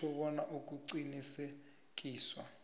kutjho bona ukuqinteliswa